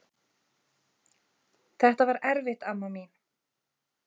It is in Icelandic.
Þetta var erfitt amma mín.